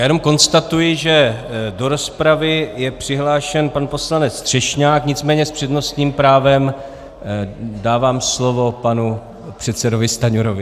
Já jenom konstatuji, že do rozpravy je přihlášen pan poslanec Třešňák, nicméně s přednostním právem dávám slovo panu předsedovi Stanjurovi.